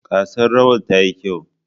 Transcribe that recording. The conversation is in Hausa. Gasar rawa ta yi kyau.